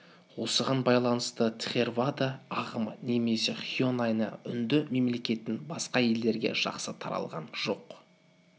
осыған байланысты тхеравада ағымы немесе хинояна үнді мемлекетінен басқа елдерге жақсы таралған жоқ